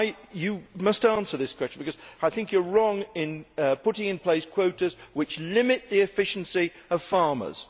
You must answer this question because I think you are wrong in putting in place quotas which limit the efficiency of farmers.